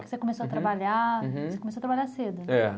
Você começou a trabalhar, você começou a trabalhar cedo. É.